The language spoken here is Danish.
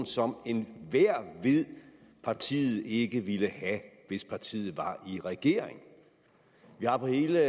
som enhver ved partiet ikke ville have hvis partiet var i regering vi har på hele